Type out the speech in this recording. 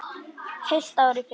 Heilt ár í felum.